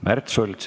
Märt Sults.